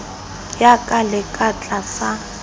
ya ka le ka tlasa